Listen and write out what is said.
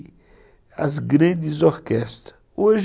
E as grandes orquestras, hoje